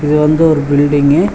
இது வந்து ஒரு பில்டிங்கு .